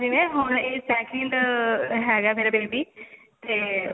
ਸੀ ਨਾ ਹੁਣ ਇਹ second ਹੈਗਾ ਹੈ ਮੇਰਾ baby ਤੇ